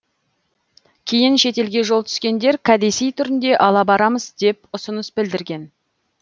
кейін шетелге жол түскендер кәдесый түрінде ала барамыз деп ұсыныс білдірген